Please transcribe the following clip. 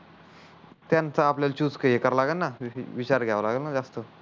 त्यांचा आपल्याला चूज कारव लागण न विचार घ्याव लागण न जास्त